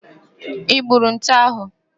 I gburu nte ahụ?